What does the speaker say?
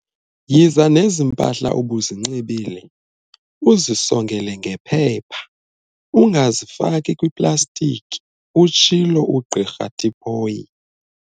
"Yiza nezi mpahla ubuzinxibile uzisongele ngephepha, ungazifaki kwiplastiki," utshilo uGq Tipoy.